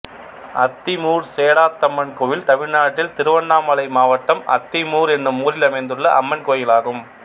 அத்திமூர் சேடாத்தம்மன் கோயில் தமிழ்நாட்டில் திருவண்ணாமலை மாவட்டம் அத்திமூர் என்னும் ஊரில் அமைந்துள்ள அம்மன் கோயிலாகும்